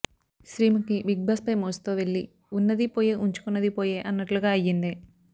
శ్రీముఖి బిగ్బాస్పై మోజుతో వెళ్లి ఉన్నది పోయే ఉంచుకున్నది పోయే అన్నట్లుగా అయ్యింది